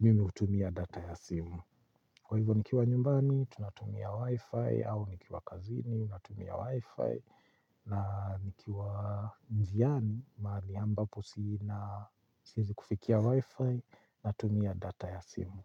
mimi hutumia data ya simu. Kwa hivyo nikiwa nyumbani, tunatumia Wi-Fi, au nikiwa kazini, tunatumia Wi-Fi, na nikiwa njiani, mahali ambapo si na siezi kufikia Wi-Fi, natumia data ya simu.